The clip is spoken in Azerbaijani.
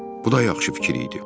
Bu da yaxşı fikir idi.